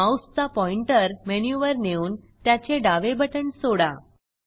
माऊसचा पॉईंटर मेनूवर नेऊन त्याचे डावे बटण सोडा